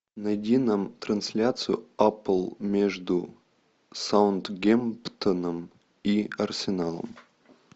найди нам трансляцию апл между саутгемптоном и арсеналом